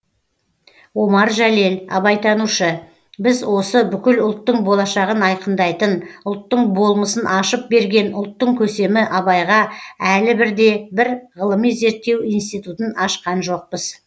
омар жәлел абайтанушы біз осы бүкіл ұлттың болашағын айқындайтын ұлттың болмысын ашып берген ұлттың көсемі абайға әлі бірде бір ғылыми зерттеу институтын ашқан жоқпыз